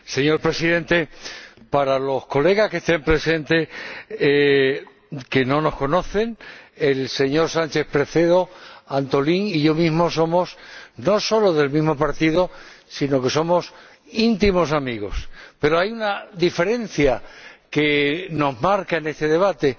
Señor Presidente, para los colegas que estén presentes, que no nos conocen, Antolín Sánchez Presedo y yo somos no solo del mismo partido, sino que somos íntimos amigos, pero hay una diferencia que nos marca en este debate.